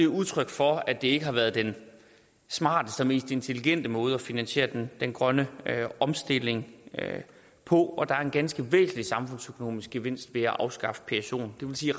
udtryk for at det ikke har været den smarteste og mest intelligente måde at finansiere den grønne omstilling på og der er en ganske væsentlig samfundsøkonomisk gevinst ved at afskaffe psoen det vil sige